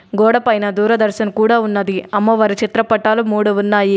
గోడ పైన దూరదర్శన్ కూడా ఉన్నది అమ్మవారి చిత్రపటాలు మూడు ఉన్నాయి.